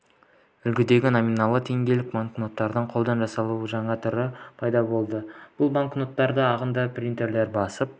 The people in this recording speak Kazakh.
үлгідегі номиналы теңгелік банкноттарды қолдан жасаудың жаңа түрлері пайда болды бұл банкноттар ағынды принтерде басып